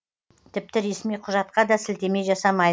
тіпті ресми құжатқа да сілтеме жасамайды